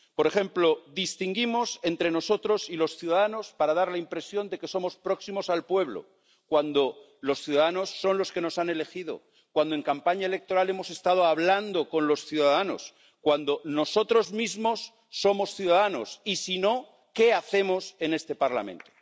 Por ejemplo, distinguimos entre nosotros y los ciudadanos para dar la impresión de que somos próximos al pueblo, cuando los ciudadanos son los que nos han elegido, cuando en campaña electoral hemos estado hablando con los ciudadanos, cuando nosotros mismos somos ciudadanos y, si no, ¿qué hacemos en este Parlamento?